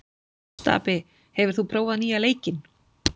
Stapi, hefur þú prófað nýja leikinn?